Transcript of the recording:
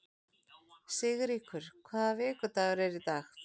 Sigríkur, hvaða vikudagur er í dag?